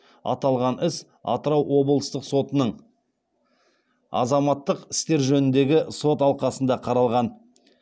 аталған іс атырау облыстық сотының азаматтық істер жөніндегі сот алқасында қаралған